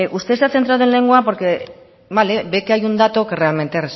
usted se ha centrado en lengua porque vale ve que hay un dato que realmente